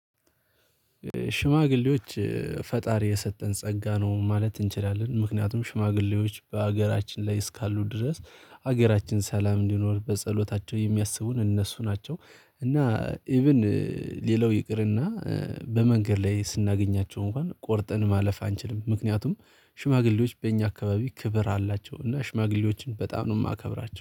ሽማግሌዎች ፈጣሪ የሰጠን ጸጋ ነው ማለት እንችላለን ምክንያቱም ሽማግሌዎች በሀገራችን ላይ እስካሉ ድረስ ሀገራችን ሰላም እንዲኖር በጸሎታቸው የሚያስቡን እነሱ ናቸው። እና ኢቭን ሌላው ይቅርና። በመንገድ ላይ ስናገኛቸው እንኳን ቆርጠን ማለፍ አንችልም። ምክንያቱም ሽማግሌዎች በእኛ አካባቢ ክብር አላቸው እና ሽማግሌዎችን በጣም ነው የማከብራቸው